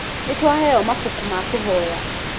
Nĩ twaheo mabuku ma kũhoya.